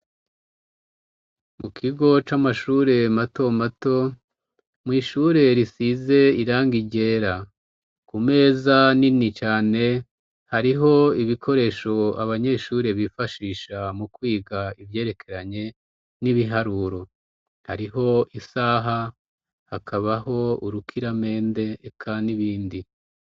Mu kigo c'amashure mato mato, mw' ishure risize irangi ryera. Ku meza nini cane hariho ibikoresho abanyeshure bifashisha mu kwiga ivyerekeranye n'ibiharuro. Hariho isaha, hakabaho urukiramende, eka n'ibindi.